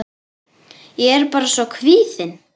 Ég er bara svo kvíðin.